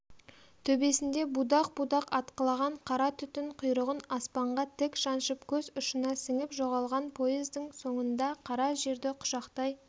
төбесінде будақ-будақ атқылаған қара түтін құйрығын аспанға тік шаншып көз ұшына сіңіп жоғалған поездың соңында қара жерді құшақтай